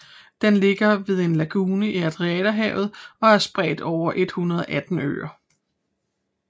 Den ligger ved en lagune i Adriaterhavet og er spredt over 118 øer